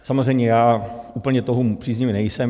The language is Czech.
Samozřejmě já úplně toho příznivec nejsem.